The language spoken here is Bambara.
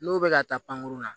N'o bɛ ka taa pankurun na